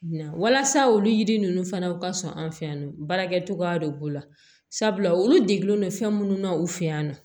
Walasa olu yiri ninnu fana u ka sɔn an fɛ yan nɔ baarakɛcogoya de b'u la sabula olu degunnen don fɛn minnu na u fɛ yan nɔ